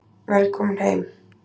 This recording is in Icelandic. Velkomin heim.